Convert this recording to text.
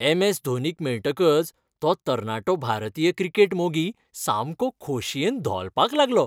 M. S धोनीक मेळटकच तो तरणाटो भारतीय क्रिकेट मोगी सामको खोशयेन धोलपाक लागलो .